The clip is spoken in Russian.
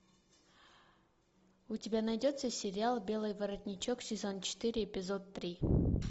у тебя найдется сериал белый воротничок сезон четыре эпизод три